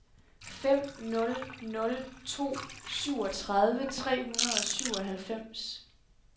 fem nul nul to syvogtredive tre hundrede og syvoghalvfems